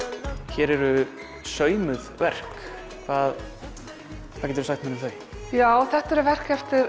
hér eru saumuð verk hvað geturðu sagt mér um þau já þetta eru verk eftir